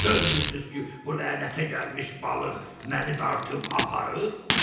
Görmürsüz ki, bu lənətə gəlmiş balıq məni dartıb aparır?